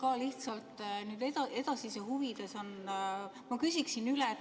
Ma ka lihtsalt edasise huvides küsin üle.